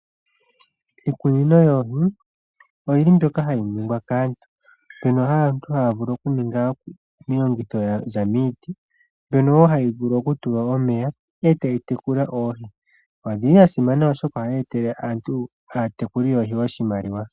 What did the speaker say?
Iikunino yoohi, oyi li hayi ningwa kaantu, mbyono aantu haya vulu okuninga okuza miiti, mbyono wo hayi vulu okutulwa omeya, e tayi tekula oohi. Odhi li dhasimana oshoka ohadhi tele aatekuli yoohi oshimaliwa.